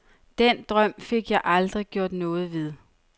Den drøm fik jeg aldrig gjort noget ved.